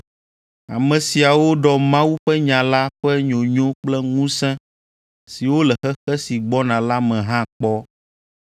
ame siawo ɖɔ Mawu ƒe nya la ƒe nyonyo kple ŋusẽ siwo le xexe si gbɔna la me hã kpɔ.